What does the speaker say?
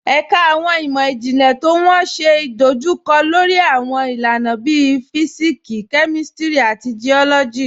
Ẹ̀kà awọn imọ-jinlẹ̀ tó wọ́n ṣé idojúkọ̀ lórí awọn ilànà bíí Físíksì, Kémístírì, àti Geólọ́jì.